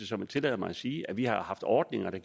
som jeg tillader mig at sige det vi har haft ordninger der